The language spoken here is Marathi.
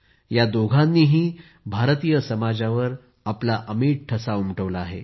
या दोघांनीही भारतीय समाजावर आपला अमिट ठसा उमटवला आहे